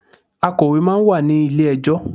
Akọ̀wé máa ń wà ní ilé ẹjọ́.